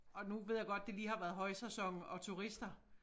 Og nu ved jeg godt det lige har været højsæson og turister